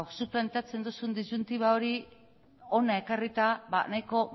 zuk planteatzen duzun disjuntiba hori hona ekarrita ba nahiko